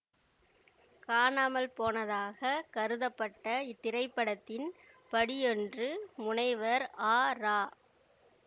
காணாமல் போனதாகக் கருதப்பட்ட இத்திரைப்படத்தின் படியொன்று முனைவர் ஆ இரா